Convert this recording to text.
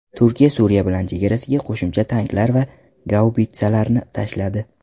Turkiya Suriya bilan chegarasiga qo‘shimcha tanklar va gaubitsalarni tashladi.